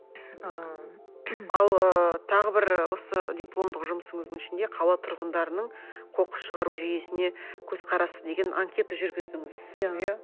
ыыы ал ы тағы бір осы дипломдық жұмысыңыздың ішінде қала тұрғындарының қоқыс шығару жүйесіне көзқарасы деген анкета жүргіздіңіз иә